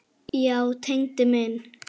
Já, Tengdi minn.